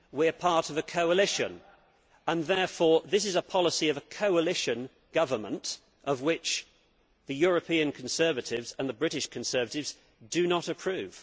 We are part of a coalition and this is a policy of the coalition government of which the European Conservatives and the British Conservatives do not approve.